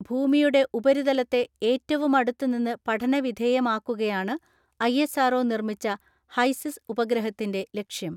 ഭൂമിയുടെ ഉപരിതലത്തെ ഏറ്റവുമടുത്ത് നിന്ന് പഠനവിധേയമാക്കുകയാണ് ഐഎസ് ആർ ഒ നിർമ്മിച്ച ഹൈസിസ് ഉപഗ്രഹത്തിന്റെ ലക്ഷ്യം.